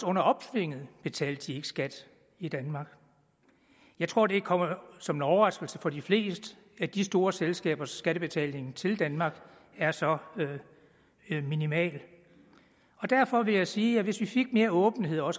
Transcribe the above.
under opsvinget betalte de ikke skat i danmark jeg tror det kommer som en overraskelse for de fleste at de store selskabers skattebetaling til danmark er så minimal og derfor vil jeg sige at hvis vi også fik mere åbenhed om